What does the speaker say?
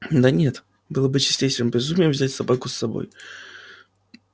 да нет было бы чистейшим безумием взять собаку с собой